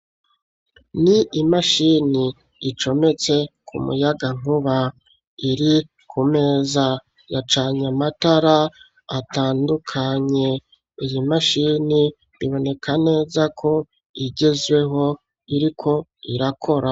Ni imashini icometse ku muyaga nkuba iri ku meza ya canyamatara atandukanye. Iyi mashini biboneka neza ko igezweho iriko irakora.